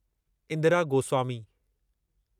Indira Goswami